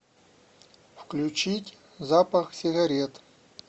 включить запахсигарет